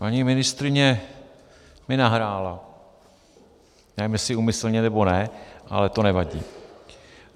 Paní ministryně mi nahrála, nevím, jestli úmyslně, nebo ne, ale to nevadí.